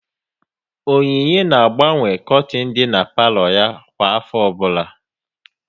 Onyinye na-agbanwe kortin dị n'palo ya kwa afọ ọbụla